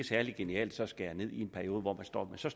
særlig genialt at skære ned i en periode hvor man står med så